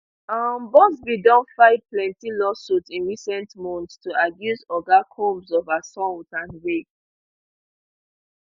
um buzbee don file plenti lawsuits in recent months to accuse oga combs of assault and rape